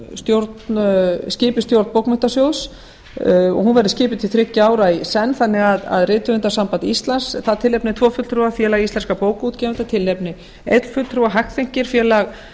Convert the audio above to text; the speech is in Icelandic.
stjórn skipi stjórn bókmenntasjóðs hún verði skipuð til þriggja ára í senn þannig að rithöfundasamband íslands tilnefni tvo fulltrúa félag íslenskum bókaútgáfa tilnefni einn fulltrúa hagþenki félag